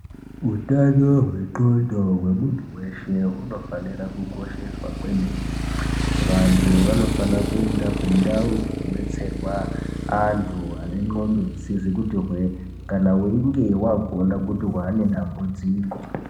Utano hwendxondo hwemunhu wese hunofanire kukosheswa kwemene. Vantu vanofanire kuenda kundau dzinobetserwa antu ane ndxondo dzisizi kuti hwee kana weinge waona kuti wane dambudziko.